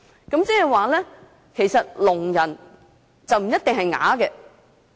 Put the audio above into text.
換句話說，聾人不一定是啞巴。